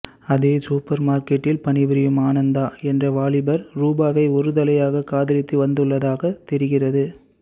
அதே சூப்பர் மார்க்கெட்டில் பணிபுரியும் ஆனந்த என்ற வாலிபர் ரூபாவை ஒரு தலையாக காதலித்து வந்துள்ளதாக தெரிகிறது